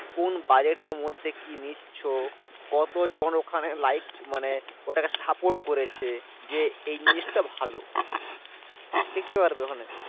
কোন budget এর মধ্যে কি নিচ্ছো? কত জন ওখানে like মানে ওটাকে support করেছে? যে এই জিনিসটা ভালো। দেখতে পারবে ওখানে।